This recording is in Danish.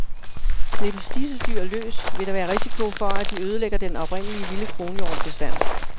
Slippes disse dyr løs, vil der være risiko for, at de ødelægger den oprindelige vilde kronhjortebestand.